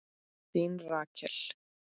Þín Rakel.